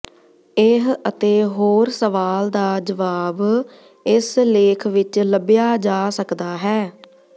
ਇਹ ਅਤੇ ਹੋਰ ਸਵਾਲ ਦਾ ਜਵਾਬ ਇਸ ਲੇਖ ਵਿੱਚ ਲੱਭਿਆ ਜਾ ਸਕਦਾ ਹੈ